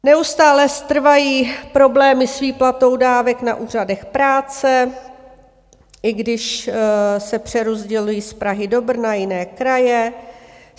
Neustále trvají problémy s výplatou dávek na úřadech práce, i když se přerozdělují z Prahy do Brna, jiné kraje.